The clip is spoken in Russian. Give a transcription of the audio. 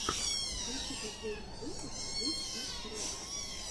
включи последний выпуск зыс из хорошо